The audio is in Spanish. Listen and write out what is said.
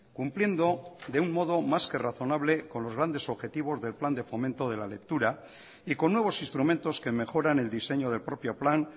cumpliendo de un modo más que razonable con los grandes objetivos del plan de fomento de la lectura y con nuevos instrumentos que mejoran el diseño del propio plan